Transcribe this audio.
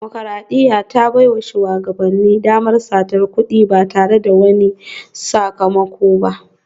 Dimokuradiyya ta baiwa shugabanni damar satar kudi ba tare da wani sakamako ba